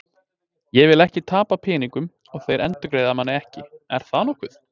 Ég vil ekki tapa peningum og þeir endurgreiða manni ekki, er það nokkuð?